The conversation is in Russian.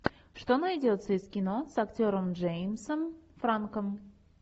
что найдется из кино с актером джеймсом франком